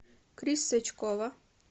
крис сачкова